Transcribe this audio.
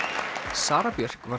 Sara Björk varð